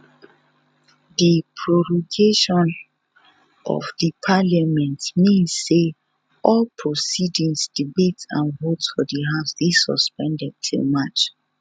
di prorogation of di parliament mean say all proceedings debates and votes for di house dey suspended till march